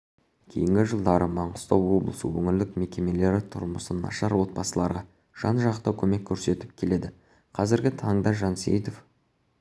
кейінгі жылдары маңғыстау облысы өңірлік мекемелері тұрмысы нашар отбасыларға жан-жақты көмек көрсетіп келеді қазіргі таңда жансейітов